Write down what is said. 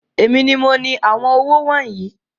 Èmi ní mo ní àwọn owó wọnyii